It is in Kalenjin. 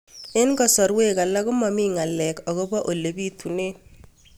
Eng' kasarwek alak ko mami ng'alek akopo ole pitunee